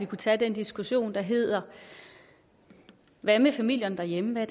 kunne tage den diskussion der hedder hvad med familierne derhjemme hvad